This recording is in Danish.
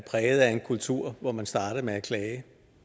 præget af en kultur hvor man starter med at klage